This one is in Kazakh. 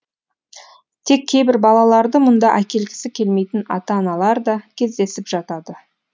тек кейбір балаларды мұнда әкелгісі келмейтін ата аналар да кездесіп жатады